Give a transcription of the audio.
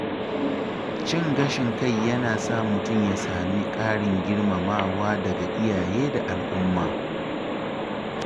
Cin gashin kai yana sa mutum ya sami ƙarin girmamawa daga iyaye da al’umma.